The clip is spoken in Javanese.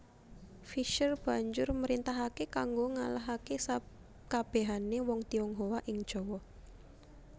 Visscher banjur mrintahake kanggo ngalahake sakabehane wong Tionghoa ing Jawa